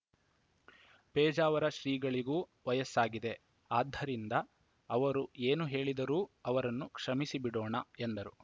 ಪೇಜಾವರ ಶ್ರೀಗಳಿಗೂ ವಯಸ್ಸಾಗಿದೆ ಆದ್ದರಿಂದ ಅವರು ಏನು ಹೇಳಿದರೂ ಅವರನ್ನು ಕ್ಷಮಿಸಿಬಿಡೋಣ ಎಂದರು